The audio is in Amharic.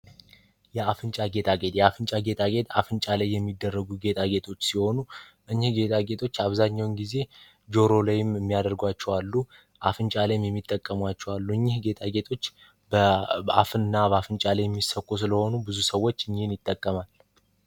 የአፍንጫ ጌጣጌጥ የአፍንጫ ጌጣጌጥ አፍንጫ ላይ የሚደረጉ ጌታቸው ሲሆኑ ጌታዎች አብዛኛውን ጊዜ ጆሮ ላይም የሚያደርጓቸው አሉ። አፍንጫ ላይ የሚጠቀሙ አሉ። እኒህ በአፍ እና በአፍንጫ ላይ የሚሰኩ ስለሆኑ ብዙ ሰዎች ይጠቀማል።